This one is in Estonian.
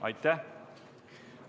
Ei ole.